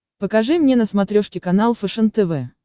покажи мне на смотрешке канал фэшен тв